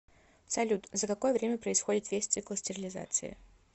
салют за какое время происходит весь цикл стерилизации